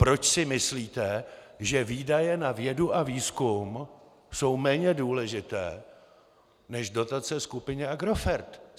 Proč si myslíte, že výdaje na vědu a výzkum jsou méně důležité než dotace skupině Agrofert?